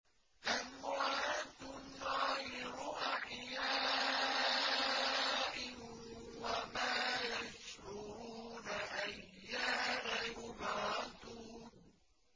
أَمْوَاتٌ غَيْرُ أَحْيَاءٍ ۖ وَمَا يَشْعُرُونَ أَيَّانَ يُبْعَثُونَ